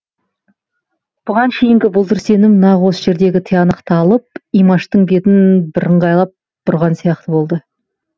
бұған шейінгі бұлдыр сенім нақ осы жерде тиянақталып имаштың бетін бірыңғайлап бұрған сияқты болды